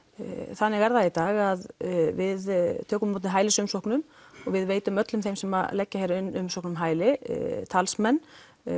þannig er það í dag að við tökum á móti hælisumsóknum og við veitum öllum þeim sem leggja hér inn umsókn um hæli talsmenn